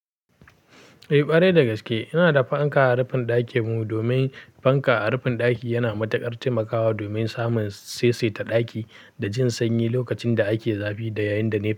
Eh, ƙwarai da gaske. Ina da fanka a rufin ɗakin mu, domin fanka a rufin ɗaki yana matuƙar taimakawa domin samun saisaita ɗaki da jin sanyi lokacin da ake zafi da yayin da ne.